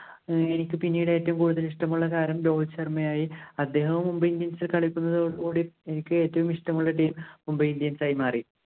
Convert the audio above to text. എനിക്ക് പിന്നീട് ഏറ്റവും കൂടുതൽ ഇഷ്ടമുള്ള താരം രോഹിത് ശര്‍മ്മയായി. അദ്ദേഹവും Mumbai Indians ഇല്‍ കളിക്കുന്നതോട് കൂടി എനിക്ക് ഏറ്റവും ഇഷ്ടമുള്ള team Mumbai Indians ആയി മാറി.